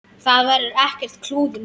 Það verður ekkert klúður núna.